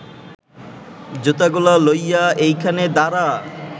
জুতাগুলা লইয়া এইখানে দাঁড়া